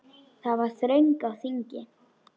Það var þröng á þingi.